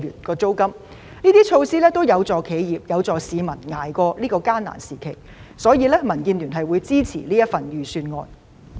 上述措施都有助企業和市民捱過艱難時期，因此民建聯支持預算案。